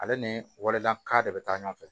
Ale ni walekan de bɛ taa ɲɔgɔn fɛ